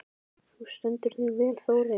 Þú stendur þig vel, Þórey!